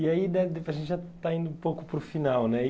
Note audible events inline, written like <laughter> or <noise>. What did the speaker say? E aí, <unintelligible> a gente já está indo um pouco para o final, né? E